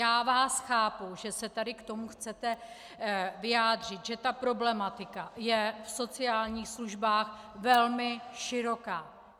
Já vás chápu, že se tady k tomu chcete vyjádřit, že ta problematika je v sociálních službách velmi široká.